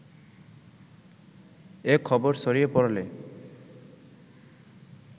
এ খবর ছড়িয়ে পড়লে